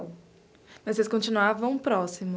Mas vocês continuavam